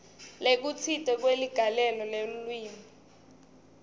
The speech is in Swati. lokutsite kweligalelo lelulwimi